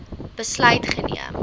besluit geneem